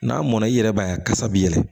N'a mɔnna i yɛrɛ b'a ye a kasa bi yɛlɛ